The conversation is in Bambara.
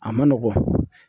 A ma nɔgɔn.